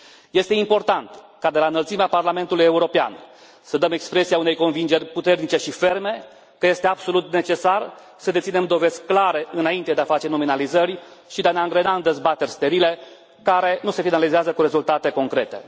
Este important ca, de la înălțimea Parlamentul European, să dăm expresia unei convingeri puternice și ferme că este absolut necesar să deținem dovezi clare înainte de a face nominalizări și de a ne angrena în dezbateri sterile, care nu se finalizează cu rezultate concrete.